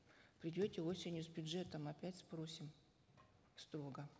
придете осенью с бюджетом опять спросим строго